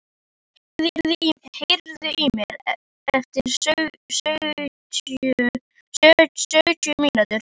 Kristin, heyrðu í mér eftir sjötíu mínútur.